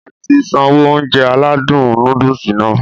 Ati sanwó Ounjẹ aládùn nóódùsì Nàá